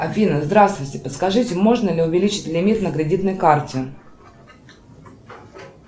афина здравствуйте подскажите можно ли увеличить лимит на кредитной карте